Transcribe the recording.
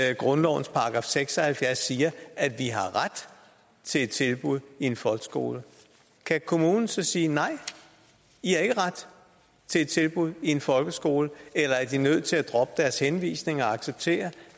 at grundlovens § seks og halvfjerds siger at vi har ret til et tilbud i folkeskolen kan kommunen så sige nej i har ikke ret til et tilbud i en folkeskole eller er de nødt til at droppe deres henvisning og acceptere